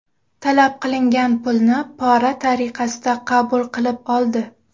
Talab qilingan pulni pora tariqasida qabul qilib oldi.